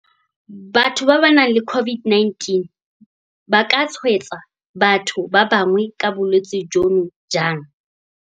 Batho ba ba nang le COVID-19 ba ka tshwaetsa batho ba bangwe ka bolwetse jono jang?